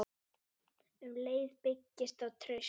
Um leið byggist upp traust.